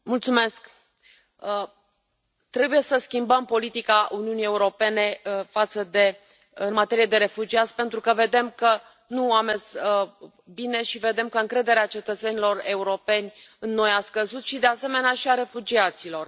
Doamnă președintă, trebuie să schimbăm politica Uniunii Europene în materie de refugiați, pentru că vedem că nu a mers bine și vedem că încrederea cetățenilor europeni în noi a scăzut și, de asemenea, și a refugiaților.